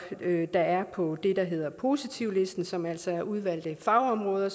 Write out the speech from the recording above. der er på det der hedder positivlisten som altså er udvalgte fagområder og